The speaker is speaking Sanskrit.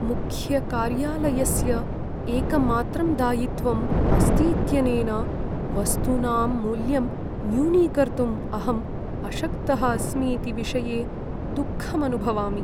मुख्यकार्यालयस्य एकमात्रं दायित्वम् अस्तीत्यनेन, वस्तूनां मूल्यं न्यूनीकर्तुम् अहम् अशक्तः अस्मीति विषये दुःखम् अनुभवामि।